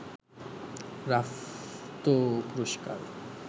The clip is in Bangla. রাফতো পুরস্কার